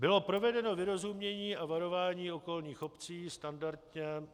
Bylo provedeno vyrozumění a varování okolních obcí standardně.